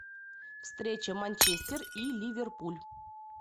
встреча манчестер и ливерпуль